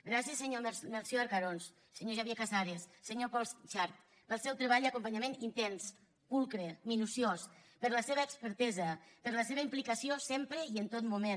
gràcies senyor melcior arcarons senyor xavier casares senyor pol xart pel seu treball i acompanyament intens pulcre minuciós per la seva expertesa per la seva implicació sempre i en tot moment